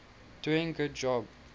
doing good job